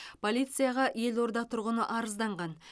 полицияға елорда тұрғыны арызданған